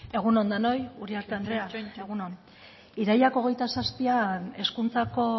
egun on denoi uriarte andrea egun on irailak hogeita zazpian hezkuntzako